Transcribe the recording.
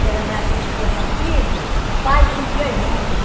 Que era naquele tempo antigo, os pai prendia a gente, né?